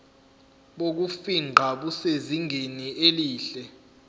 bokufingqa busezingeni elihle